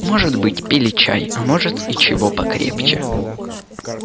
может быть пили чай а может и чего покрепче